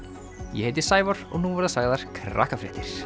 ég heiti Sævar og nú verða sagðar